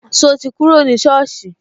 So ti kúrò ní soosi